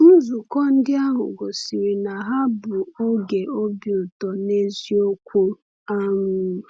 Nzukọ ndị ahụ gosiri na ha bụ oge obi ụtọ n’eziokwu. um